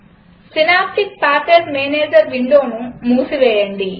synaptic package manager విండోను మూసివేయండి